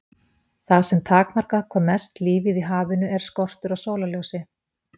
Það sem takmarkar hvað mest lífið í hafinu er skortur á sólarljósi.